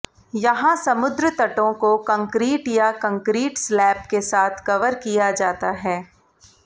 यहां समुद्र तटों को कंक्रीट या कंक्रीट स्लैब के साथ कवर किया जाता है